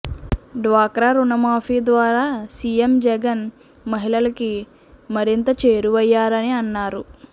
డ్వాక్రా రుణమాఫీ ద్వారా సీఎం జగన్ మహిళలుకి మరింత చేరువయ్యారని అన్నారు